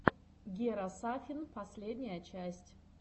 гера сафин последняя часть